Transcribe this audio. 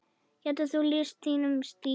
Getur þú lýst þínum stíl?